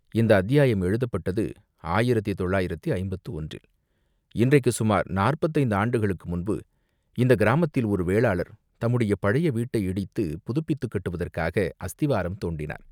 இந்த அத்தியாயம் எழுதப்பட்டது ஆயிரத்து தொள்ளாயிரத்து ஐம்பத்து ஒன்றில், இன்றைக்குச் சுமார் நாற்பத்தைந்து ஆண்டுகளுக்கு முன்பு இந்தக் கிராமத்தில் ஒரு வேளாளர் தம்முடைய பழைய வீட்டை இடித்துப் புதுப்பித்துக் கட்டுவதற்காக அஸ்திவாரம் தோண்டினார்.